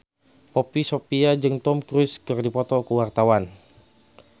Poppy Sovia jeung Tom Cruise keur dipoto ku wartawan